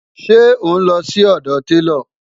ṣé onlo Si odò talo?